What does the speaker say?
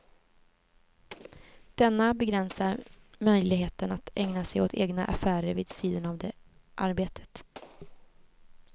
Denna begränsar möjligheten att ägna sig åt egna affärer vid sidan av det arbetet.